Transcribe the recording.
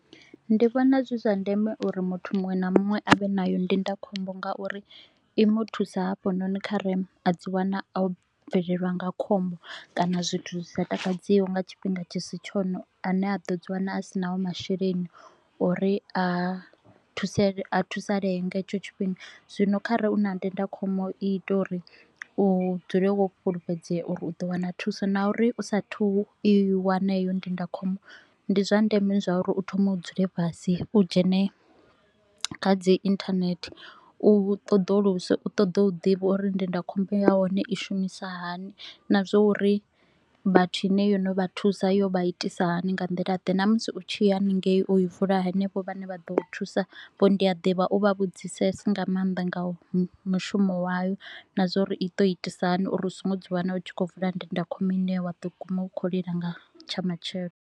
Ndi vhona zwi zwa ndeme uri muthu muṅwe na muṅwe a vhe nayo ndindakhombo ngauri i mu thusa hafhanoni khare a dzi wana o bvelelwa nga khombo kana zwithu zwi sa takadziho nga tshifhinga tshi si tshone. A ne a ḓo dzi wana a sinaho masheleni a uri a thusa thusalee nga hetsho tshifhinga, zwino kha re u na ndindakhombo i ita uri u dzule wo fhulufhedzea uri u ḓo wana thuso. Na uri u sa a thu u i wane eyo ndindakhombo, ndi zwa ndeme uri u thome u dzule fhasi, u dzhene kha dzi inthanethe, u ṱoḓuluse, u ṱoḓe u ḓivha uri ndindakhombo ya hone i shumisa hani. Na zwa uri vhathu ine yo no vha thusa yo vha itisa hani, nga nḓila ḓe na musi u tshi ya haningei u i vula hanevho vhane vha ḓo u thusa, vho ndiaḓivha u vha vhudzisese nga maanḓa nga mushumo wayo na zwa uri i to itisa hani uri u so ngo ḓi wana u tshi kho u vula ndindakhombo ine wa ḓo guma u khou lila nga tsha matshelo